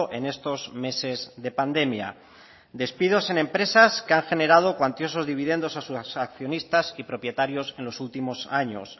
en estos meses de pandemia despidos en empresas que han generado cuantiosos dividendos a sus accionistas y propietarios en los últimos años